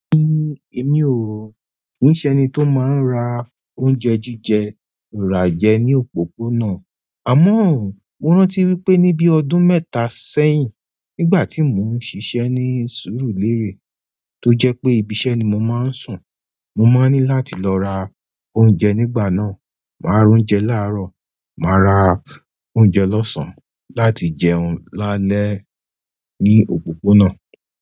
Èmi o kìí ṣe ẹni tó máa ń ra oúnjẹ jíjẹ, rà jẹ ní òpópónà. Àmọ́, mo rántí wípé níbí ọdún mẹ́ta sẹ́yìn, nígbà tí mò ń ṣiṣẹ́ ní sùúrùlérè, tó jẹ́ pé ibi iṣẹ́ ni mo máa ń sùn, mo máa ní láti lọ ra oúnjẹ nígbà náà, màá ra oúnjẹ láàrọ̀, màá ra oúnjẹ lọ́sàn-án láti jẹun lálẹ́ ní òpópónà.